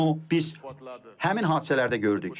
Bunu biz həmin hadisələrdə gördük.